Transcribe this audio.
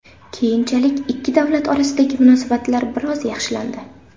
Keyinchalik ikki davlat orasidagi munosabatlar biroz yaxshilandi.